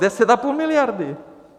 Deset a půl miliardy!